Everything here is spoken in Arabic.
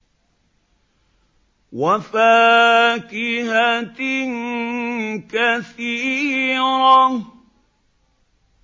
وَفَاكِهَةٍ كَثِيرَةٍ